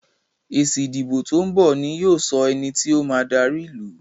èsì ìdìbò to'n bọ ní yóò sọ ení tíó ma dari ilú.